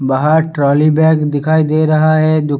बाहर trolley bag दिखाई दे रहा है दु --